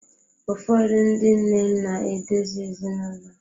Ụfọdụ ndị nne na-edozi ezinaụlọ.